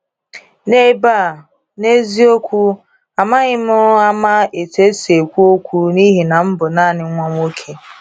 N'ebe a, n’eziokwu amaghị m ama etu esi ekwu okwu n’ihi na m bụ naanị nwa nwoke.